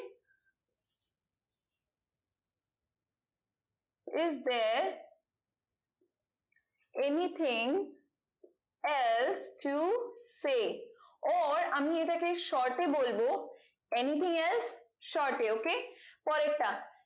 is there anything as to she or আমি এটাকে short এ বলবো anything as short এ ok পরের টা